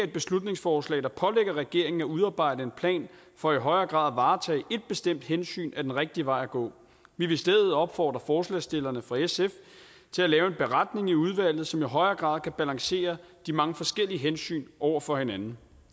beslutningsforslag der pålægger regeringen at udarbejde en plan for i højere grad at varetage et bestemt hensyn er den rigtige vej at gå vi vil i stedet for opfordre forslagsstillerne fra sf til at lave en beretning i udvalget som i højere grad kan balancere de mange forskellige hensyn over for hinanden